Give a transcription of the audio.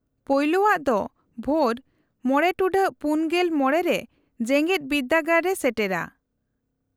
-ᱯᱳᱭᱞᱳᱣᱟᱜ ᱫᱚ ᱵᱷᱳᱨ ᱕ᱹ᱔᱕ ᱨᱮ ᱡᱮᱜᱮᱫᱵᱤᱨᱫᱟᱹᱜᱟᱲ ᱮ ᱥᱮᱴᱮᱨᱟ ᱾